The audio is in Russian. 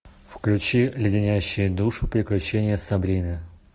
включи леденящие душу приключения сабрины